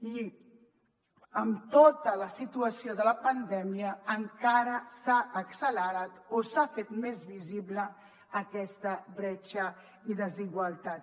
i amb tota la situació de la pandèmia encara s’ha accelerat o s’ha fet més visible aquesta bretxa i desigualtat